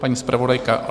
Paní zpravodajka?